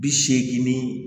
Bi seegin ni